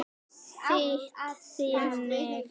Þýtt þannig